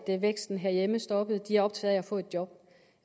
væksten herhjemme stoppede de er optaget af at få et job